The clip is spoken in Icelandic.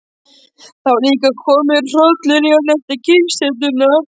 Það var líka kominn hrollur í hann eftir kyrrsetuna.